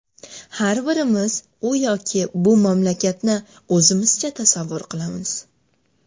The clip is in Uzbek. Har birimiz u yoki bu mamlakatni o‘zimizcha tasavvur qilamiz.